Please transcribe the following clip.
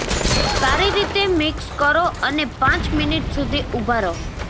સારી રીતે મિક્સ કરો અને પાંચ મિનિટ સુધી ઊભા રહો